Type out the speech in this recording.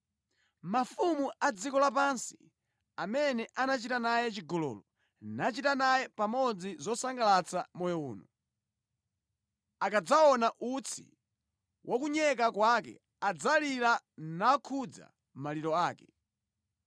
“Mafumu a dziko lapansi, amene anachita naye chigololo nachita naye pamodzi zosangalatsa moyo uno, akadzaona utsi wa kunyeka kwake, adzalira nakhuza maliro ake.